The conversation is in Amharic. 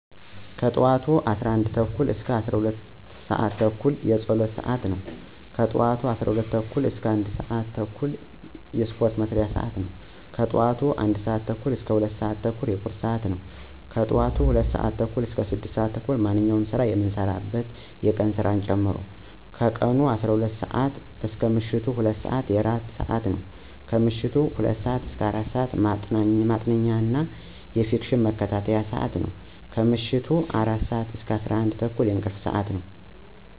ከጠዋቱ 11:30 - 12:30 የፀሎት ስዓቴ ነው። ከጠዋቱ 12:30 - 1:30 የስፓርት መስሪያ ስዓቴ ነው። ከጠዋቱ 1:30 - 2:00 የቁርስ ስዓቴ ነው። ከጠዋቱ 2:00 እስከ ቀኑ 12:00 ስዓት ማንኛውንም የስራ መስሪያ ስዓት የቀን ስራን ጨምሮ። ከቀኑ12:00 - ምሸቱ 2:00 የእራት ስዓቴ ነው። ከምሸቱ 2:00 - 4:00 ማጥኛ እና የፊክሽን መከታተያ ስዓቴ ነው። ከምሸቱ 4:00 - 11:30 የእንቅልፍ ስዓቴ ነው።